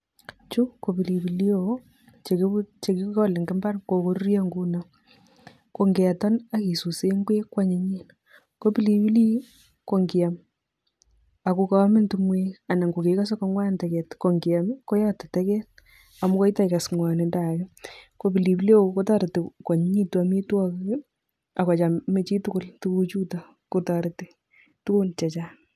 Chu ko pilipili hoho che kikole eng imbar, kokoruryo nguno, ko ngeton ak kisuse ngwek kwanyinyen, ko pilipilik ii, ko ngiam ako kaamin tungwek anan ko kekose ko ngwan teket ko ngiam ii, koyote teket amakoi taikas ngwonindo ake, ko pilipili hoho kotoreti kwanyinyitu amitwogik ii, akochame chitugul tukuchuto kotoreti tugun che chang.